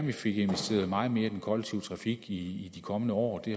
vi fik investeret meget mere i den kollektive trafik i de kommende år det